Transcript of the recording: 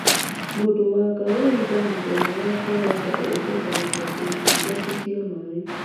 Mũndũ wa kawaida mũthenya wa kawaida endekaga ta quarti ithatũ cia maĩ.